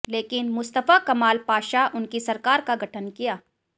लेकिन Mustafa Kemal Pasha उनकी सरकार का गठन किया